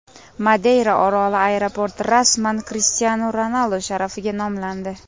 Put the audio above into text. Madeyra oroli aeroporti rasman Krishtianu Ronaldu sharafiga nomlandi.